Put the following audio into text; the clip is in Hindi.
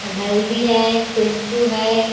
और हल्दी है शैम्पू है।